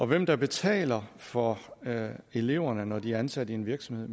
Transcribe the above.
hvem der betaler for eleverne når de er ansat i en virksomhed